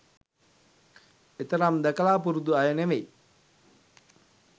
එතරම් දැකලා පුරුදු අය නෙවෙයි.